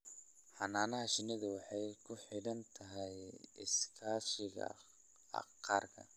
Xannaanada shinnidu waxay ku xidhan tahay iskaashiga qaranka.